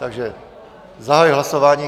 Takže zahajuji hlasování.